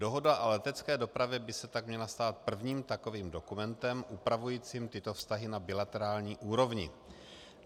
Dohoda o letecké dopravě by se tak měla stát prvním takovým dokumentem upravujícím tyto vztahy na bilaterální úrovni.